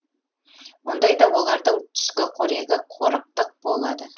мұндайда олардың түскі қорегі қорықтық болады